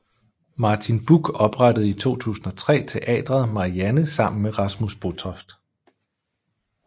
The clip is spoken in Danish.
Martin Buch oprettede i 2003 Teatret Marianne sammen med Rasmus Botoft